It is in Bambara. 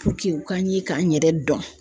u ka n ye ka n yɛrɛ dɔn